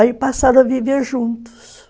Aí passaram a viver juntos.